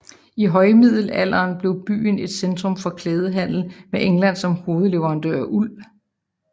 I højmiddelalderen blev byen et centrum for klædehandel med England som hovedleverandør af uld